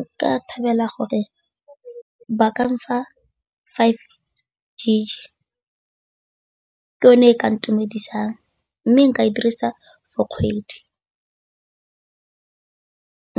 Nka thabela gore ba kang fa five gig-e ke yone e ka ntumedisang mme nka e dirisa for kgwedi,